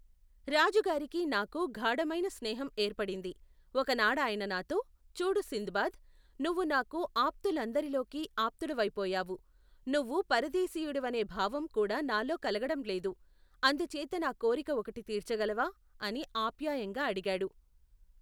రాజుగారికీ నాకూ గాఢమైన స్నేహం ఏర్పడింది. ఒకనాడాయన నాతో, చూడు సింద్ బాద్ ! నువ్వు నాకు ఆప్తులందరిలోకి ఆప్తుడివైపోయావు. నువ్వు పరదేశీయుడివనే భావం కూడానాలో కలగటంలేదు. అందుచేత నా కోరిక ఒకటి తీర్చగలవా? అని ఆప్యాయంగా అడిగాడు.